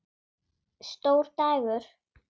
Stór dagur?